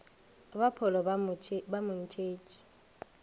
ba pholo ba mo ntšhetše